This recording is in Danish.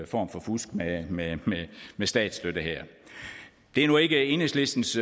form for fusk med med statsstøtte det er nu ikke enhedslistens